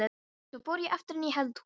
Svo fór ég aftur inn í eldhús.